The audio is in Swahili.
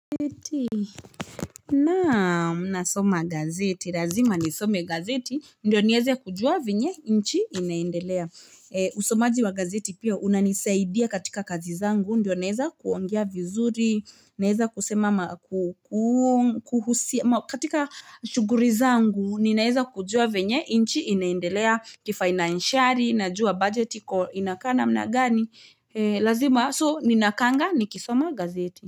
Naam, nasoma gazeti. Lazima nisome gazeti ndio nieze kujua vyenye nchi inaendelea. Usomaji wa gazeti pia, unanisaidia katika kazi zangu, ndio nieze kuongea vizuri, naezakusema ma kuhusu, katika shughuri zangu, ninaeza kujua vyenye nchi inaendelea kifainanshari, najua bajeti iko inakaa namna gani. Lazima, so ninakaanga nikisoma gazeti.